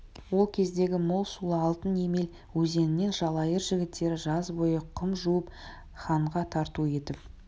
ол кездегі мол сулы алтын емел өзенінен жалайыр жігіттері жаз бойы құм жуып ханға тарту етіп